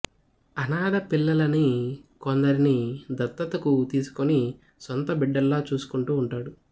అనాథ పిల్లలని కొందరిని దత్తతకు తీసుకొని సొంత బిడ్డల్లా చూసుకొంటూ ఉంటాడు